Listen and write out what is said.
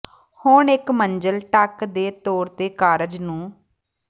ਹੁਣ ਇੱਕ ਮੰਜ਼ਿਲ ਢੱਕ ਦੇ ਤੌਰ ਤੇ ਕਾਰਜ ਨੂੰ